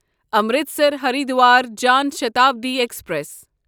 Amritsar Haridwar Jan Shatabdi express